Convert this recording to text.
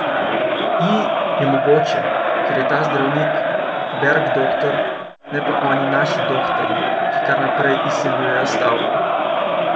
I, je mogoče, ker je ta zdravnik Bergdoktor, ne pa oni naši dohtarji, ki kar naprej izsiljujejo s stavko.